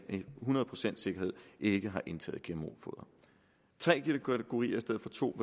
hundrede procents sikkerhed ikke har indtaget gmo foder tre kategorier i stedet for to